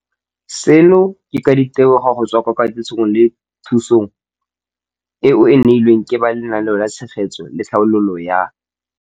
Seno ke ka ditebogo go tswa mo katisong le thu song eo a e neilweng ke ba Lenaane la Tshegetso le Tlhabololo ya.